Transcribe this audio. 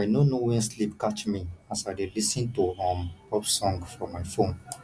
i no know wen sleep catch me as i dey lis ten to um pop song for my phone